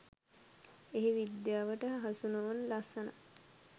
එහි විද්‍යාවට හසු නොවන ලස්සනක්